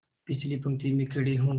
पिछली पंक्ति में खड़े हो गए